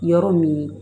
Yɔrɔ min